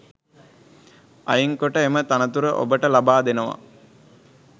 අයින් කොට එම තනතුර ඔබට ලබා දෙනවා.